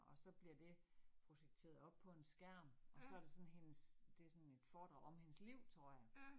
Og så bliver det projekteret op på en skærm, og så det sådan hendes. Det sådan et foredrag om hendes liv tror jeg